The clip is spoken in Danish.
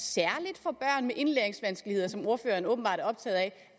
at med indlæringsvanskeligheder som ordføreren åbenbart